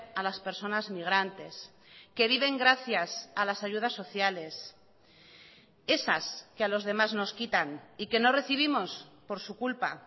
a las personas migrantes que viven gracias a las ayudas sociales esas que a los demás nos quitan y que no recibimos por su culpa